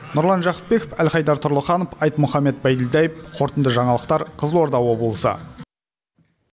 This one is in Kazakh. нұрлан жақыпбеков әлхайдар тұрлыханов айтмұхаммед байділдаев қорытынды жаңалықтар қызылорда облысы